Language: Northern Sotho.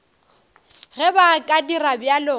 ge ba ka dira bjalo